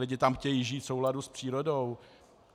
Lidé tam chtějí žít v souladu s přírodou.